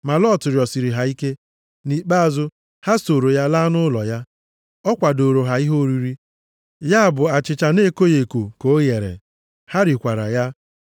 Ma Lọt rịọsiri ha ike. Nʼikpeazụ ha sooro ya laa nʼụlọ ya. Ọ kwadooro ha ihe oriri, ya bụ achịcha na-ekoghị eko ka o ghere. Ha rikwara ya.